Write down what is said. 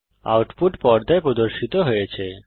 output পর্দায় প্রদর্শিত হয়েছে